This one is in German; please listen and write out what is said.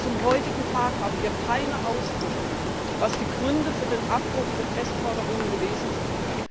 Bis zum heutigen Tag haben wir keine Auskunft, was die Gründe für den Abbruch der Testförderung gewesen sind.